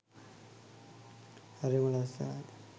හරිම ලස්සනයි.